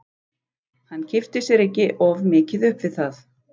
Hann kippti sér ekki of mikið upp við það.